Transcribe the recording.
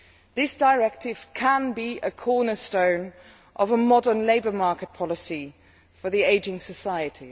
This directive could be a cornerstone of a modern labour market policy for the ageing society.